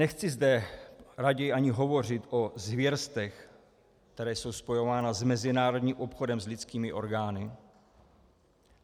Nechci zde raději ani hovořit o zvěrstvech, která jsou spojována s mezinárodním obchodem s lidskými orgány.